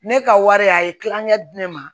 Ne ka wari a ye tilakɛ di ne ma